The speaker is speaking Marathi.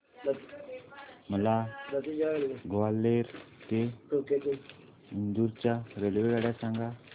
मला ग्वाल्हेर ते इंदूर च्या रेल्वेगाड्या सांगा